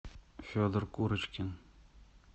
федор курочкин